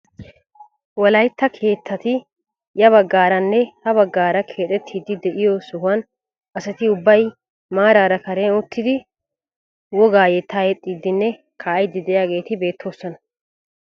Wolaytta keettati ya baggaranne ha baggaara kexettidi de'iyoo sohuwaan asati ubbay maarara karen uttidi wogaa yettaa yexxiidinne kaa'idi de'iyaageti beettoosona!